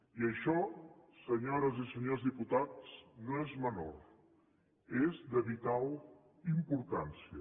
i això senyores i senyors diputats no és menor és de vital importància